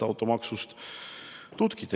Tutkit!